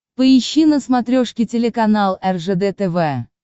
поищи на смотрешке телеканал ржд тв